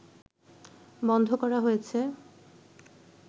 বন্ধ করা হয়েছে